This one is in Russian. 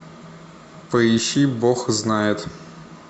поищи бог знает